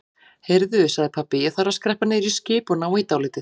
Heyrðu sagði pabbi, ég þarf að skreppa niður í skip og ná í dálítið.